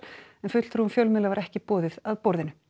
en fulltrúum fjölmiðla var ekki boðið að borðinu